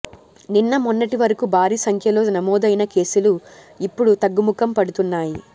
నిన్న మొన్నటి వరకు భారీ సంఖ్యలో నమోదైన కేసులు ఇప్పుడు తగ్గుముఖం పడుతున్నాయి